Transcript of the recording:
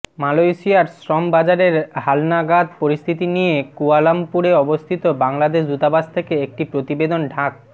মালয়েশিয়ার শ্রম বাজারের হালনাগাদ পরিস্থিতি নিয়ে কুয়ালালামপুরে অবস্থিত বাংলাদেশ দূতাবাস থেকে একটি প্রতিবেদন ঢাক